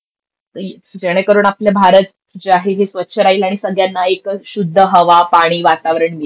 जेणेकरून आपला भारत जे आहे हे स्वच्छ राहील आणि सगळ्यांना एकच शुद्ध हवा, पानी आणि वातावरण मिळेल.